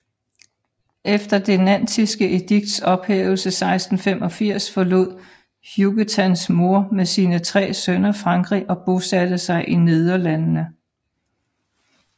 Efter det nantiske edikts ophævelse 1685 forlod Huguetans mor med sine tre sønner Frankrig og bosatte sig i Nederlandene